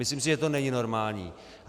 Myslím si, že to není normální.